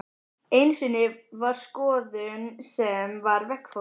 Einu sinni var skoðun sem var veggfóður.